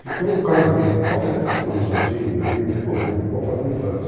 Porque o casamento, pode até ter um namoradinho, um noivinho, não tem problema, vamos fazendo planos.